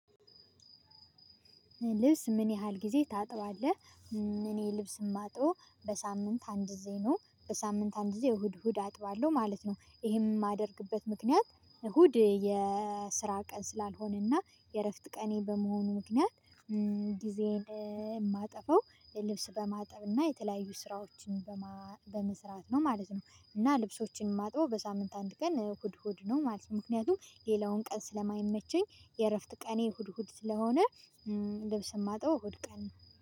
ልብስ ምን ያህል ጊዜ ታጥባለህ? እኔ ልብስ የማጥበው በሳምንት አንድ ግዜ ነው በሳምንት አንድ ግዜ እሁድ እሁድ አጥባለሁ ማለት ነው። ይሄም የማደርግበት ምክንያት እሁድ የስራ ቀን ስላልሆነና የእረፍት ቀኔ በመሆኑ ምክንያት። ጊዜን የማጠፋው ልብስ በማጠብ እና የተለያዩ ስራዎችን በመስራት ነው ማለት ነው። እና ልብሶችን የማጥበው በሳምንት አንድ ቀን እሁድ እሁድ ነው ማለት ነው። ምክንያቱም ሌላውን ቀን ስለማይመቸኝ የእረፍት ቀኔ እሁድ እሁድ ስለሆነ። ልብስ የማጥበው እሁድ ቀን